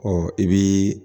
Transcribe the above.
Ɔ i bii